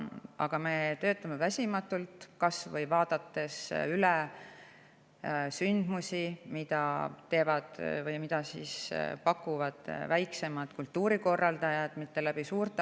Aga me töötame väsimatult, vaadates kas või üle seda, mida pakuvad ka väiksemad kultuurikorraldajad, mitte vaid suured asutused.